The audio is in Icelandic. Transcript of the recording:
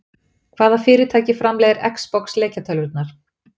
Hvaða fyrirtæki framleiðir Xbox leikjatölvurnar?